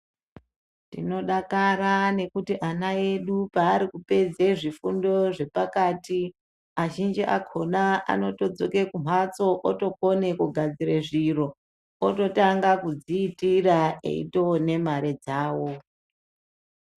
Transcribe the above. Tinodakara nekuti ana edu paari kupedze zvifundo zvepakati azhinji akona anotodzoke kumhatso otokone kugadzire zviro ototanga kudziitira eitoone mare dzawo.